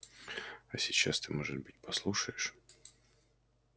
а сейчас ты может быть послушаешь